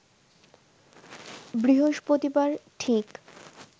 বৃহস্পতিবার ঠিক